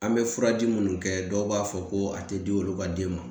An bɛ furaji minnu kɛ dɔw b'a fɔ ko a tɛ di olu ka den ma